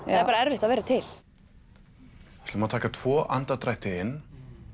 er bara erfitt að vera til við ætlum að taka tvo andardrætti inn